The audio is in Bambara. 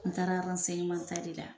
N taara ta de la.